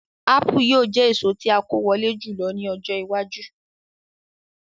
Ápù yóò jẹ èso tí a kó wọlé jùlọ ní ọjọ́ iwájú